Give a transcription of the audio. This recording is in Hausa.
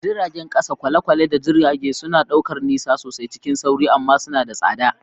Jiragen ƙasa, kwale-kwale, da jirage suna ɗaukar nisa sosai cikin sauri amma suna da tsada.